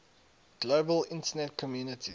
global internet community